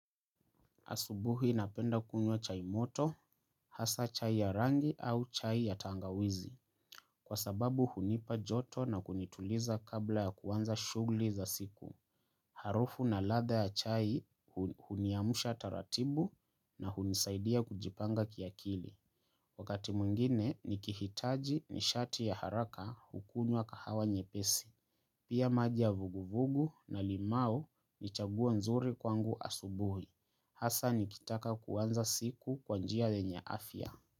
Asubuhi napenda kunywa chai moto, hasa chai ya rangi au chai ya tangawizi, kwa sababu hunipa joto na kunituliza kabla ya kuanza shugli za siku. Harufu na ladha ya chai huniamsha taratibu na hunisaidia kujipanga kiakili. Wakati mwingine, nikihitaji ni shati ya haraka hukunywa kahawa nyepesi. Pia maji ya vuguvugu na limau ni chaguo nzuri kwangu asubuhi. Hasa nikitaka kuanza siku kwa njia yenye afya.